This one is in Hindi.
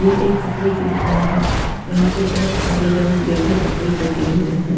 ये एक कपड़े की दुकान हैं यहाँ पे बहोत सारे रंग बिरंगी कपड़े टंगे हुए हैं।